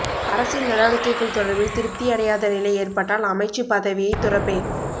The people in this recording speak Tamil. அரசின் நடவடிக்கைகள் தொடர்பில் திருப்தியடையாத நிலை ஏற்பட்டால் அமைச்சுப் பதவியைத் துறப்பேன்